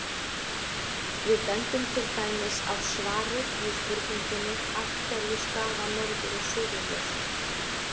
Við bendum til dæmis á svarið við spurningunni Af hverju stafa norður- og suðurljósin?